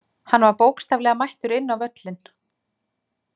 Hann var bókstaflega mættur inn á völlinn.